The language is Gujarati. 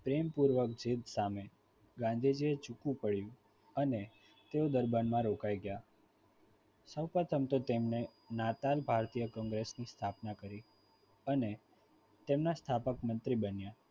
પ્રેમપૂર્વક જીત સામે ગાંધીજીએ ઝુકવું પડ્યું અને તેઓ ડરબાનમાં રોકાઈ ગયા સૌપ્રથમ તો તેમણે નાતાલ ભારતીય કોંગ્રેસની સ્થાપના કરી અને તેમના સ્થાપક મંત્રી બન્યા.